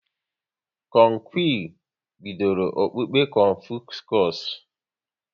Kong Qi bidoro okpukpe Confuscus